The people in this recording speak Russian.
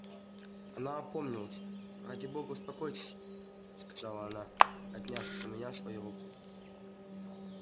она опомнилась ради бога успокойтесь сказала она отняв у меня свою руку